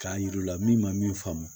K'a yir'u la min ma min faamu